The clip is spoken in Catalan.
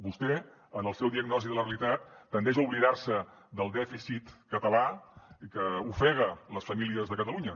vostè en la seva diagnosi de la realitat tendeix a oblidar se del dèficit català que ofega les famílies de catalunya